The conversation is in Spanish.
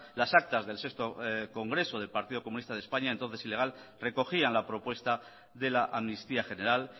las actas del sexto congreso del partido comunista de españa entonces ilegal recogían la propuesta de la amnistía general